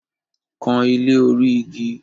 Kan ilé orí igi!